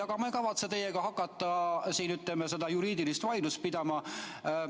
Aga ma ei kavatse teiega hakata siin seda juriidilist vaidlust pidama.